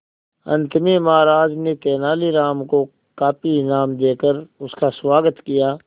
अंत में महाराज ने तेनालीराम को काफी इनाम देकर उसका स्वागत किया